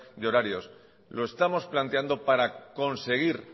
de horarios lo estamos planteando para conseguir